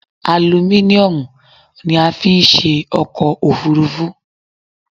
Alumíniomù ni a fi n se ọkọ̀ òfúrufú